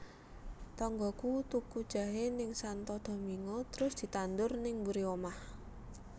Tonggoku tuku jahe ning Santo Domingo trus ditandur ning mburi omah